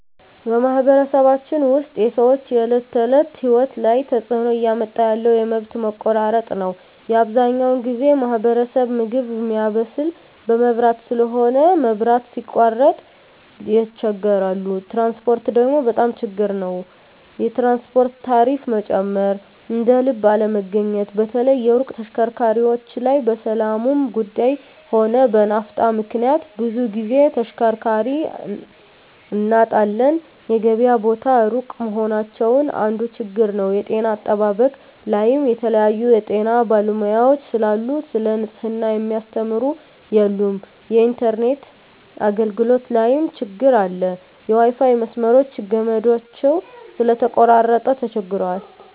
በማኅበረሰባችን ውስጥ የሰዎች የዕለት ተእለት ህይወት ላይ ትጽእኖ እያመጣ ያለው የመብት መቆራረጥ ነዉ አብዛኛው በኛ ማህበረሰብ ምግብ ሚያበስል በመብራት ስለሆነ መብራት ሲቃረጥ ይቸገራሉ ትራንስፖርት ደግሞ በጣም ችግር ናቸዉ የትራንስፖርት ታሪፋ መጨመር እደልብ አለመገኘት በተለይ የሩቅ ተሽከርካሪዎች ላይ በሠላሙም ጉዱይ ሆነ በናፍጣ ምክንያት ብዙ ግዜ ተሽከርካሪ እናጣለን የገበያ ቦታ እሩቅ መሆናቸው አንዱ ችግር ነዉ የጤና አጠባበቅ ላይም የተለያዩ የጤና ባለሙያዎች ስለሉ ሰለ ንጽሕና ሚያስተምሩ የሉም የኢንተርነት አገልግሎት ላይም ትግር አለ የዋይፋይ መስመሮች ገመዳቸው ስለተቆራረጠ ተቸግረዋል